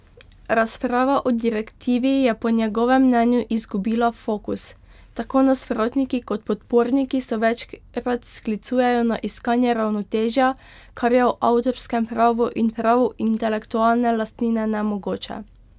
Razprava o direktivi je po njegovem mnenju izgubila fokus, tako nasprotniki kot podporniki so večkrat sklicujejo na iskanje ravnotežja, kar je v avtorskem pravu in pravu intelektualne lastnine nemogoče.